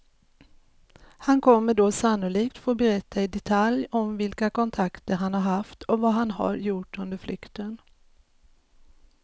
Han kommer då sannolikt få berätta i detalj om vilka kontakter han har haft och vad han har gjort under flykten.